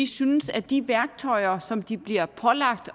synes at de værktøjer som de bliver pålagt